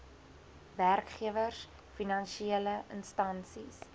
werkgewers finansiele instansies